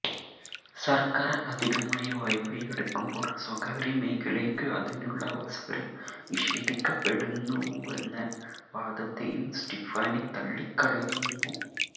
സർക്കാർ അധികമായി വായ്പയെടുക്കുമ്പോൾ സ്വകാര്യമേഖലയ്ക്ക് അതിനുള്ള അവസരം നിഷേധിക്കപ്പെടുന്നുവെന്ന വാദത്തെയും സ്റ്റിഫാനി തള്ളിക്കളയുന്നു